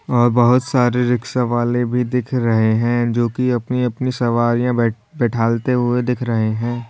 और बहोत सारी रिक्शा वाले भी दिख रहे हैं जो कि अपनी अपनी सवारियां बैठ बैठालते हुए दिख रहे हैं।